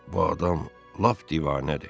Bu adam lap divanədir.